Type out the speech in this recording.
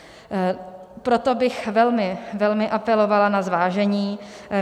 Proto bych velmi, velmi apelovala na zvážení.